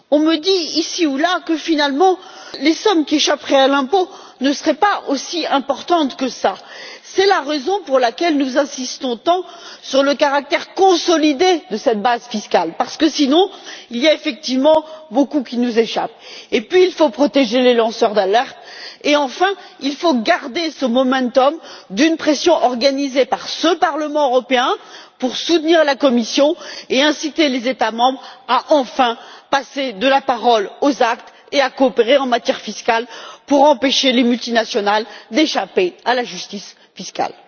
On me dit, ici ou là, que finalement les sommes qui échapperaient à l'impôt ne seraient pas aussi importantes que cela. C'est la raison pour laquelle nous insistons tant sur le caractère consolidé de cette base fiscale parce que sinon, il y a effectivement beaucoup qui nous échappe. Il faut protéger les lanceurs d'alerte, et enfin, il faut garder ce momentum d'une pression organisée par ce Parlement européen pour soutenir la Commission et inciter les États membres à enfin passer de la parole aux actes et à coopérer en matière fiscale pour empêcher les multinationales d'échapper à la justice fiscale.